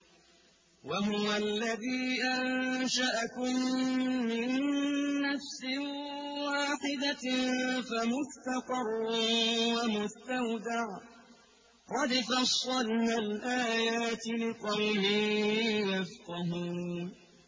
وَهُوَ الَّذِي أَنشَأَكُم مِّن نَّفْسٍ وَاحِدَةٍ فَمُسْتَقَرٌّ وَمُسْتَوْدَعٌ ۗ قَدْ فَصَّلْنَا الْآيَاتِ لِقَوْمٍ يَفْقَهُونَ